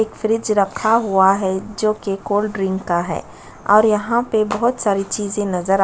एक फ्रिज रखा हुआ है जो की कोल्ड्रिंग का है और यहाँ पे बहुत सारी चीज़े नज़र आ--